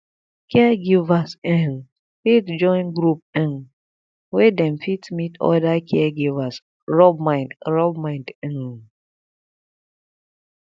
caregivers um fit join group um wey dem fit meet oda caregivers rub mind rub mind um